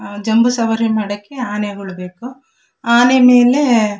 ಜಂಬೂ ಸವಾರಿ ಮಾಡಕ್ಕೆ ಆನೆಗಳು ಬೇಕು ಆನೆ ಮೇಲೆ --